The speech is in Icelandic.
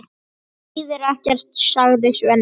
Það þýðir ekkert, sagði Svenni.